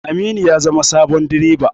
Aminu ya zama sabon bireba.